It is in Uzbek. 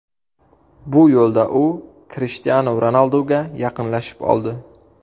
Bu yo‘lda u Krishtianu Ronalduga yaqinlashib oldi.